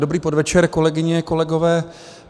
Dobrý podvečer, kolegyně, kolegové.